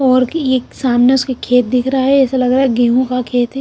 और कि ये सामने उसके खेत दिख रहा है ऐसा लग रहा है गेहूं का खेत है।